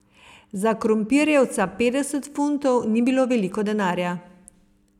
Za Krompirjevca petdeset funtov ni bilo veliko denarja.